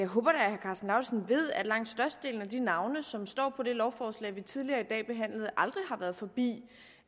håber at herre karsten lauritzen ved at langt størstedelen af de navne som står på det lovforslag vi tidligere i dag behandlede aldrig har været forbi